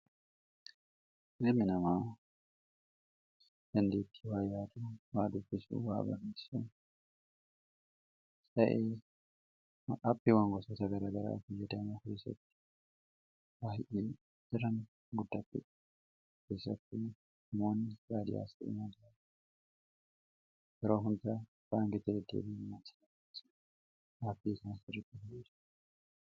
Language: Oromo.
ilimi namaa dandeettii waa yaadu waa dubbisuu waa beeksisuu ta'ee wan gosa gara garaa biyyadama firisatti waahi'ii jiran guddatti firisatti moonni raadiyaasi inaajara yeroo hundaa baangete deeleenaasirai aabbii isaan sirritti balise